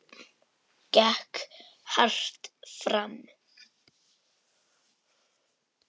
Gekk hart fram.